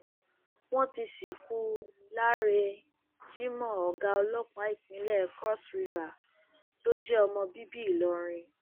wọn ti sìnkú láre jimoh ọgá ọlọpàá ìpínlẹ cross river tó jẹ ọmọ bíbí ìlọrin